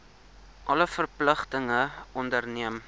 alle verpligtinge onderneem